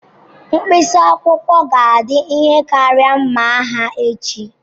Mkpịsị akwụkwọ ga-adị ike karịa mma agha echi.